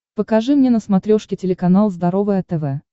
покажи мне на смотрешке телеканал здоровое тв